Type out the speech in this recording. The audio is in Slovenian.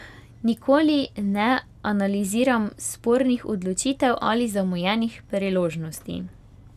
Nikoli ne analiziram spornih odločitev ali zamujenih priložnosti.